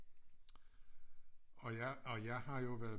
Og jeg og jeg har jo været